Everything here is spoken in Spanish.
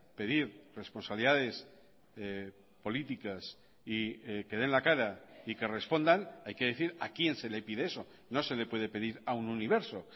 pedir responsabilidades políticas y que den la cara y que respondan hay que decir a quién se le pide eso no se le puede pedir a un universo